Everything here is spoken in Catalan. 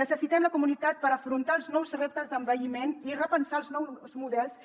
necessitem la comunitat per afrontar els nous reptes d’envelliment i repensar els nous models